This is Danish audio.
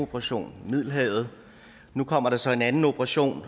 operation i middelhavet nu kommer der så en anden operation